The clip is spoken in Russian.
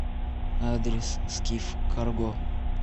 адрес скиф карго